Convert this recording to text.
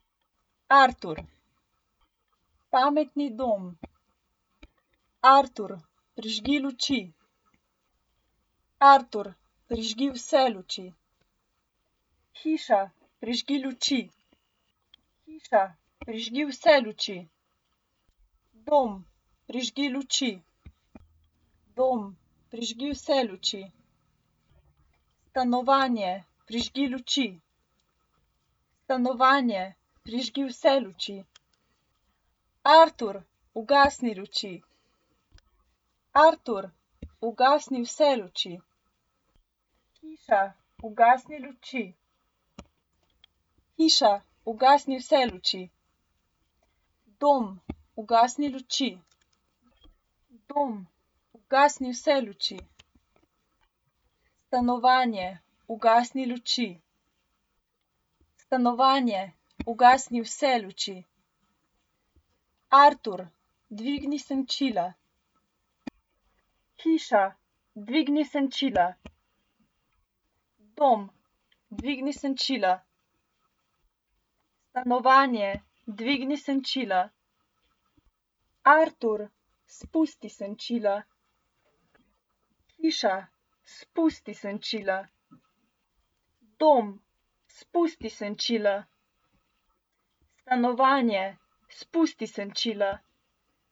Artur. Pametni dom. Artur, prižgi luči. Artur, prižgi vse luči. Hiša, prižgi luči. Hiša, prižgi vse luči. Dom, prižgi luči. Dom, prižgi vse luči. Stanovanje, prižgi luči. Stanovanje, prižgi vse luči. Artur, ugasni luči. Artur, ugasni vse luči. Hiša, ugasni luči. Hiša, ugasni vse luči. Dom, ugasni luči. Dom, ugasni vse luči. Stanovanje, ugasni luči. Stanovanje, ugasni vse luči. Artur, dvigni senčila. Hiša, dvigni senčila. Dom, dvigni senčila. Stanovanje, dvigni senčila. Artur, spusti senčila. Hiša, spusti senčila. Dom, spusti senčila. Stanovanje, spusti senčila.